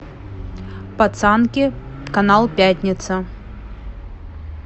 пацанки канал пятница